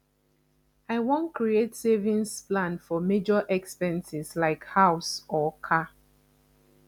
i wan create savings plan for major expenses like house or car